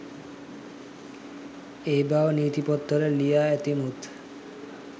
ඒ බව නීති පොත්වල ලියා ඇති මුත්